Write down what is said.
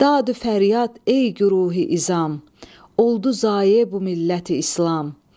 Dadü fəryad, ey güruhi izam, oldu zayə bu milləti-islam!